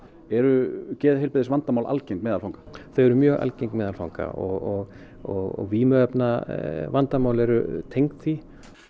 eru geðheilbrigðisvandamál algeng meðal fanga þau eru mjög algeng meðal fanga og og vímuefnavandamál eru tengd því